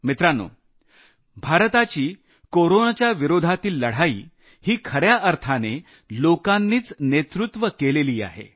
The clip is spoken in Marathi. मित्रांनो भारताची कोरोनाच्या विरोधातील लढाई ही खऱ्या अर्थाने लोकांच्या नेतृत्वानेच लढली जात आहे